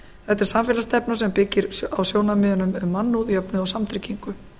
þetta er samfélagsstefna sem byggir á sjónarmiðunum um mannúð jöfnuð og samtryggingu